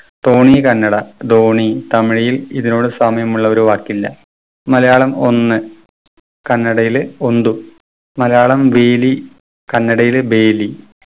തോണി കന്നഡ ദോണി തമിഴിൽ ഇതിനോട് സാമ്യമുള്ളൊരു വാക്കില്ല. മലയാളം ഒന്ന് കണ്ണടയില് ഒന്തു മലയാളം വേലി കന്നടയില് ബേലി